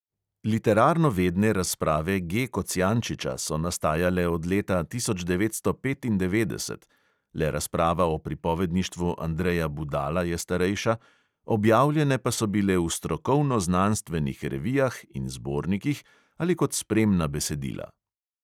Literarnovedne razprave G kocijančiča so nastajale od leta tisoč devetsto petindevetdeset (le razprava o pripovedništvu andreja budala je starejša), objavljene pa so bile v strokovno-znanstvenih revijah in zbornikih ali kot spremna besedila.